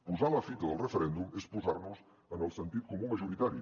posar la fita del referèndum és posar nos en el sentit comú majoritari